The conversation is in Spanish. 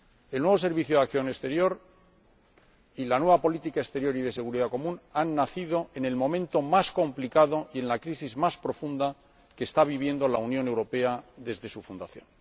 El nuevo Servicio Europeo de Acción Exterior y la nueva política exterior y de seguridad común han nacido en el momento más complicado y en la crisis más profunda que está viviendo la Unión Europea desde su fundación.